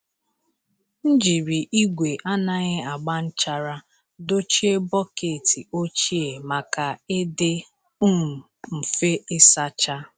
M jiri igwe anaghị agba nchara dochie bọket ochie maka ịdị um mfe ịsacha.